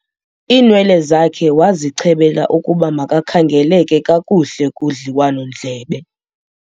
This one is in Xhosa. iinwele zakhe wazichebela ukuba makakhangeleke kakuhle kudliwanondlebe